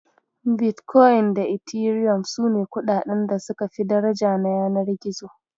Bitkoyin da Etiriyom sune kuɗaɗan da suka fi daraja na yanar gizo.